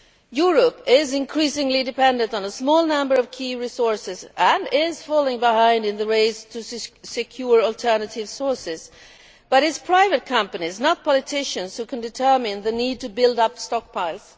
Europe is increasingly dependent on a small number of key resources and is falling behind in the race to secure alternative sources, but it is private companies, not politicians, who can determine the need to build up stockpiles.